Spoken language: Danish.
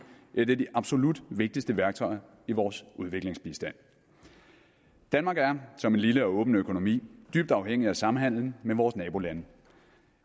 et af de absolut vigtigste værktøjer i vores udviklingsbistand danmark er som en lille og åben økonomi dybt afhængig af samhandelen med vores nabolande